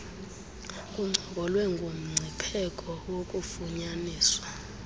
kuncokolwe ngomngcipheko wokufunyaniswa